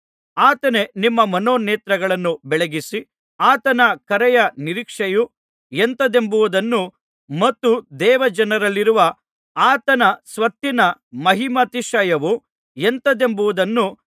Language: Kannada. ಆತನೇ ನಿಮ್ಮ ಮನೋನೇತ್ರಗಳನ್ನು ಬೆಳಗಿಸಿ ಆತನ ಕರೆಯ ನಿರೀಕ್ಷೆಯು ಎಂಥದೆಂಬುದನ್ನೂ ಮತ್ತು ದೇವಜನರಲ್ಲಿರುವ ಆತನ ಸ್ವತ್ತಿನ ಮಹಿಮಾತಿಶಯವು ಎಂಥದೆಂಬುದನ್ನೂ